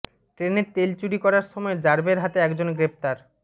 ট্রেনের তেল চুরি করার সময় র্যাবের হাতে একজন গ্রেপ্তার